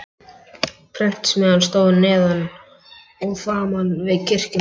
Prentsmiðjan stóð neðan og framan við kirkjuna.